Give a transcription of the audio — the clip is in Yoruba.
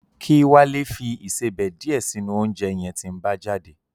Kí Wálé fi ìsebẹ̀ díẹ̀ sínú oúnjẹ yẹn tí ń bá jáde